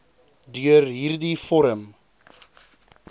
deur hierdie vorm